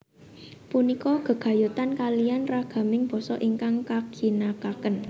Punika gegayutan kaliyan ragaming basa ingkang kaginakaken